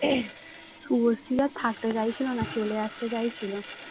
শুভশ্রী আর থাকতে চাইছিল না চলে আসতে চাইছিল